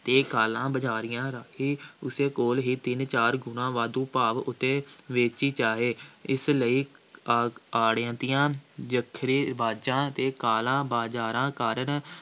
ਦੇ ਕਾਲਾ ਬਜ਼ਾਰੀਆਂ ਰਾਹੀਂ ਉਸੇ ਕੋਲ ਹੀ ਤਿੰਨ-ਚਾਰ ਗੁਣਾ ਵਾਧੂ ਭਾਅ ਉੱਤੇ ਵੇਚੀ ਜਾਵੇ, ਇਸ ਲਈ ਆ~ ਆੜ੍ਹਤੀਆਂ, ਜ਼ਖੀਰੇਬਾਜ਼ਾਂ ਅਤੇ ਕਾਲਾ-ਬਾਜ਼ਾਰਾਂ ਕਰਨ